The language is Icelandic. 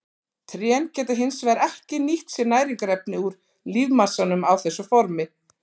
Trén geta hins vegar ekki nýtt sér næringarefni úr lífmassanum á þessu formi.